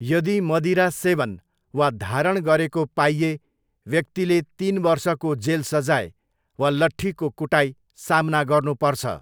यदि मदिरा सेवन वा धारण गरेको पाइए व्यक्तिले तिन वर्षको जेल सजाय वा लट्ठीको कुटाइ सामना गर्नुपर्छ।